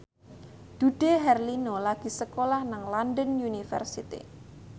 Dude Herlino lagi sekolah nang London University